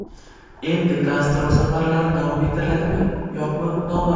Endi gastrol safarlari davom ettiriladimi-yo‘qmi noma’lum.